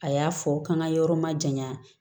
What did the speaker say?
A y'a fɔ k'an ka yɔrɔ ma jaɲa